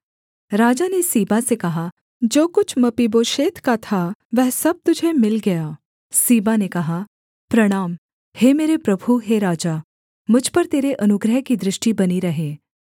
राजा ने सीबा से कहा जो कुछ मपीबोशेत का था वह सब तुझे मिल गया सीबा ने कहा प्रणाम हे मेरे प्रभु हे राजा मुझ पर तेरे अनुग्रह की दृष्टि बनी रहे